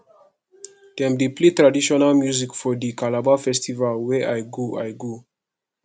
dem dey play traditional music for di calabar festival wey i go i go